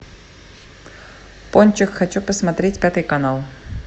пончик хочу посмотреть пятый канал